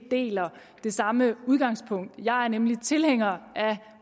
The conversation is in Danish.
det samme udgangspunkt jeg er nemlig tilhænger af